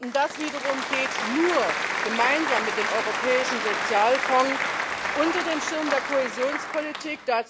Und das wiederum geht nur gemeinsam mit dem Europäischen Sozialfonds unter dem Schirm der Kohäsionspolitik.